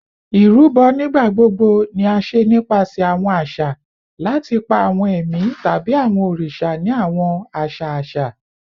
Irubo nigbagbogbo ni a ṣe nipasẹ awọn aṣa lati pa awọn ẹmi tabi awọn oriṣa ni awọn aṣa aṣa